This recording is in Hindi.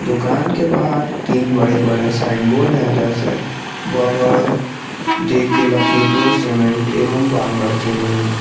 दुकान के बाहर तीन बड़े बड़े साइन बोर्ड है जैसे Berger J K Lakshmi pro cement एवं बांगड़ सीमेंट --